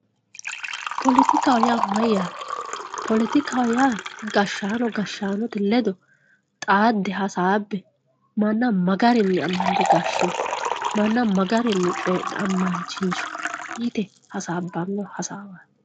poletikaho yaa mayyate poletikaho yaa gashshaano gashshaanote ledo xaadde hasaabbe manna magarinni amande gashshino manna magarinni coyii'ne ammansiinso yite hasaabbanno hasaawaati.